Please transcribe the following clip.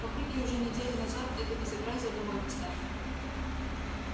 папульке уже неделю назад это безобразие домой поставили